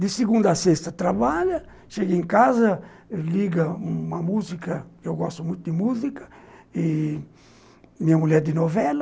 De segunda à sexta, trabalha, chega em casa, liga uma música, eu gosto muito de música, e minha mulher é de novela,